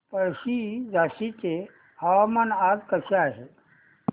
पळशी झाशीचे हवामान आज कसे आहे